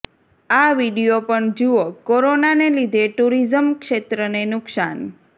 આ વીડિયો પણ જુઓઃ કોરોનાને લીધે ટુરિઝમ ક્ષેત્રને નુકશાન